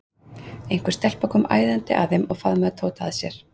Einhver stelpa kom æðandi að þeim og faðmaði Tóta að sér.